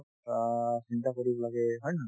অ, চিন্তা কৰিব লাগে হয় নে নহয়